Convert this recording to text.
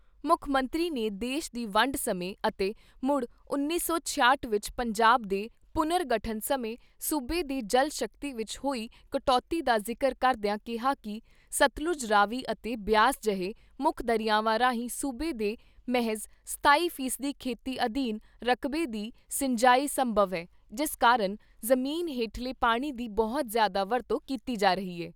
ਮੁੱਖ ਮੰਤਰੀ ਨੇ ਦੇਸ਼ ਦੀ ਵੰਡ ਸਮੇਂ ਅਤੇ ਮੁੜ ਉੱਨੀ ਸੌ ਛਿਆਹਟ ਵਿਚ ਪੰਜਾਬ ਦੇ ਪੁਨਰਗਠਨ ਸਮੇਂ ਸੂਬੇ ਦੀ ਜਲ ਸ਼ਕਤੀ ਵਿਚ ਹੋਈ ਕਟੌਤੀ ਦਾ ਜ਼ਿਕਰ ਕਰਦਿਆਂ ਕਿਹਾ ਕਿ ਸਤਲੁੱਜ, ਰਾਵੀ ਅਤੇ ਬਿਆਸ ਜਹੇ ਮੁੱਖ ਦਰਿਆਵਾਂ ਰਾਹੀਂ ਸੂਬੇ ਦੇ ਮਹਿਜ਼ ਸਤਾਈ ਫੀਸਦੀ ਖੇਤੀ ਅਧੀਨ ਰਕਬੇ ਦੀ ਸਿੰਜਾਈ ਸੰਭਵ ਏ ਜਿਸ ਕਾਰਨ ਜ਼ਮੀਨ ਹੇਠਲੇ ਪਾਣੀ ਦੀ ਬਹੁਤ ਜ਼ਿਆਦਾ ਵਰਤੋਂ ਕੀਤੀ ਜਾ ਰਹੀ ਏ।